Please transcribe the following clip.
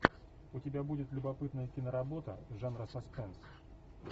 у тебя будет любопытная киноработа жанра саспенс